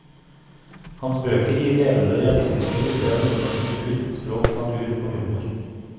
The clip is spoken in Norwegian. Hans bøker gir levende og realistiske bilder av nordnorsk kultur, språk, natur og humor.